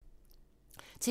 TV 2